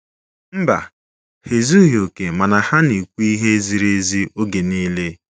Mba, ha ezughị oke mana ha na-ekwu ihe ziri ezi oge niile.